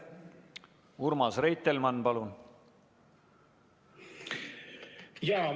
Urmas Reitelmann, palun!